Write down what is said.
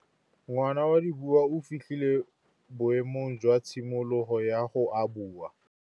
Ngwana wa Dipuo o fitlhile boêmô jwa tshimologô ya go abula.